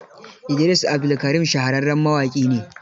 Idris Abdulkarim shahararren mawaƙi ne.